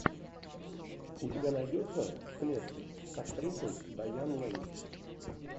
у тебя найдется в клетке с актрисой дайан лэйн